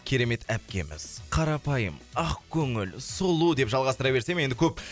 керемет әпкеміз қарапайым ақкөңіл сұлу деп жалғастыра берсем енді көп